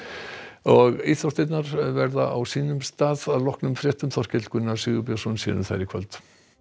og íþróttirnar verða á sínum stað að loknum fréttum Þorkell Gunnar Sigurbjörnsson sér um þær í kvöld